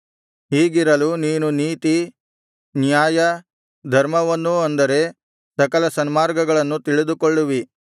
ಹೀಗಿರಲು ನೀನು ನೀತಿ ನ್ಯಾಯ ಧರ್ಮವನ್ನೂ ಅಂದರೆ ಸಕಲ ಸನ್ಮಾರ್ಗಗಳನ್ನು ತಿಳಿದುಕೊಳ್ಳುವಿ